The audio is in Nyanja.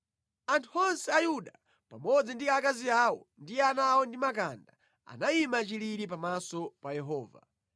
Anthu onse a Yuda, pamodzi ndi akazi awo ndi ana ndi makanda, anayima chilili pamaso pa Yehova.